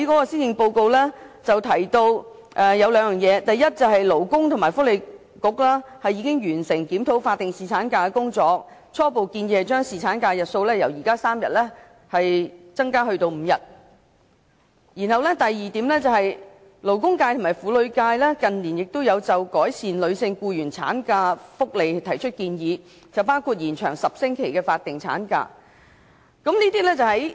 施政報告提到兩點：第一、勞工及福利局已經完成檢討法定侍產假的工作，初步建議將侍產假的日數由現時的3天增至5天；第二、勞工界及婦女界近年都有就改善女性僱員的產假福利提出建議，包括延長10星期的法定產假。